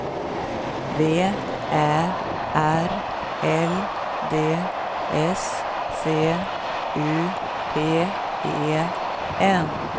V Ä R L D S C U P E N